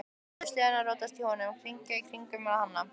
Létu sleðann rótast í honum, hringinn í kringum hann.